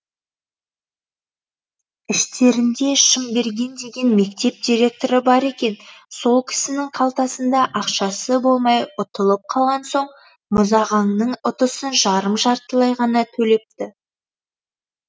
іштерінде шымберген деген мектеп директоры бар екен сол кісінің қалтасында ақшасы болмай ұтылып қалған соң мұзағаңның ұтысын жарым жартылай ғана төлепті